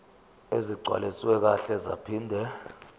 ezigcwaliswe kahle zaphinde